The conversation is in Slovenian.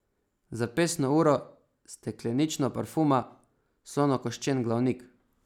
Zapestno uro, steklenično parfuma, slonokoščen glavnik.